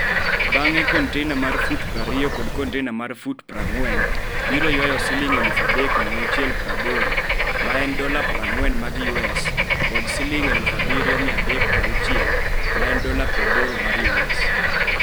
Bang'e, kontainer mar fut 20 kod kontainer mar fut 40 biro ywayo Sh3,680 (USD40) kod Sh7,360 (USD80).